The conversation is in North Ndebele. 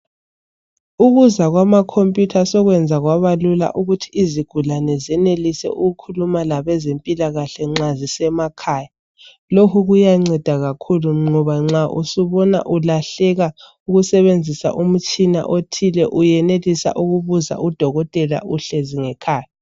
Ukuza kwamakhompiyutha sokwenza kwabalula ukuthi izigulane zenelise ukukhuluma labezempilakahle nxa zisemakhaya . Lokhu kuyanceda kakhulu ngoba nxa usubona usulahleka ukusebenzisa umtshina othile uyenelisa ukubuza udokotela uhlezi ngekhaya.